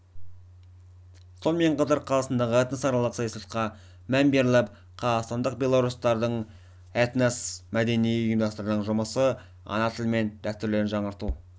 сонымен қатар қазақстандағы этносаралық саясатқа мән беріліп қазақстандық белорустардың этно-мәдени ұйымдарының жұмысы ана тілі мен дәстүрлерін жаңғырту